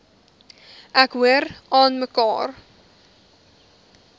ek hoor aanmekaar